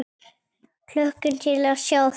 Hlökkum til að sjá þig!